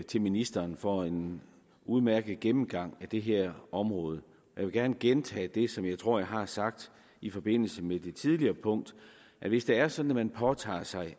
til ministeren for en udmærket gennemgang af det her område jeg vil gerne gentage det som jeg tror jeg har sagt i forbindelse med det tidligere punkt at hvis det er sådan at man påtager sig